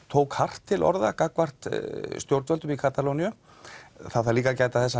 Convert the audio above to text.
tók hart til orða gagnvart stjórnvöldum í Katalóníu það þarf líka að gæta þess